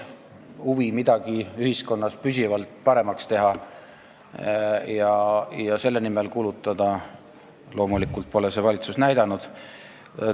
Huvi midagi ühiskonnas püsivalt paremaks teha ja selle nimel kulutada pole see valitsus üles näidanud.